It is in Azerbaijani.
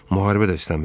Müharibə də istəmirdim.